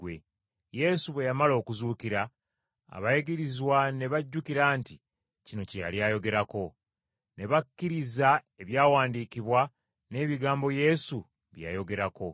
Yesu bwe yamala okuzuukira abayigirizwa ne bajjukira nti kino kye yali ayogerako. Ne bakkiriza ebyawandiikibwa n’ebigambo Yesu bye yayogerako.